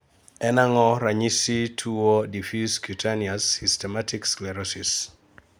En ang'o ranyisi mag tuo Diffuse cutaneous systematic sclerosis?